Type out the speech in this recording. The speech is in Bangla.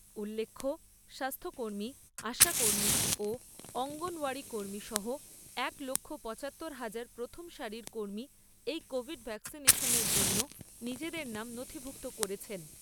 উল্লেখ্য স্বাস্থ্যকর্মী, আশাকর্মী ও অঙ্গনওয়াড়ী কর্মী সহ একলক্ষ পচাত্তর হাজার প্রথম সারীর কর্মী এই কোভিড ভ্যাকসিনেশনের জন্যে নিজেদের নাম নথিভুক্ত করেছেন।